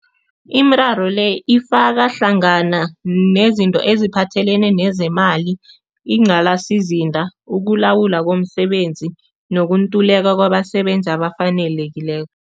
Imiraro le ifaka hlangana nezinto eziphathelene nezemali ukulawula komsebenzi nokuntuleka kwabasebenzi abafanelekileko.